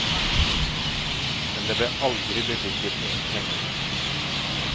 Men det ble aldri bevilget noen penger.